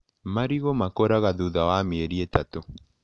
Marigũ makũraga thutha wa mĩeri ĩtatũ.